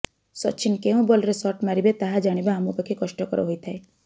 ସଚିନ କେଉଁ ବଲରେ ଶଟ୍ ମାରିବେ ତାହା ଜାଣିବା ଆମ ପକ୍ଷେ କଷ୍ଟକର ହୋଇଥାଏ